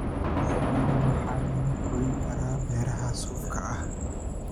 Shinnida waxaa lagu korin karaa beeraha suufka ah.